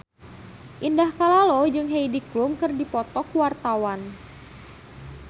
Indah Kalalo jeung Heidi Klum keur dipoto ku wartawan